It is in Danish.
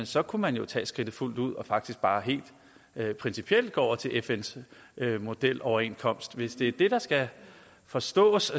så kunne man jo tage skridtet fuldt ud og faktisk bare helt principielt gå over til fns modeloverenskomst hvis det er det der skal forstås